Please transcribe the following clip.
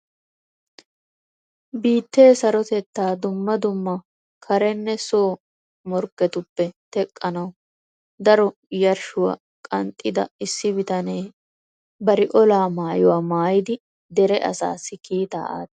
Biittee sarotetta dumma dumma karenne so morkketuppe teqqanaw daro yarshshuwaa qanxxida issi bitanne bari olaa maayyuwaa maayyidi dere asassi kiitaa aatees.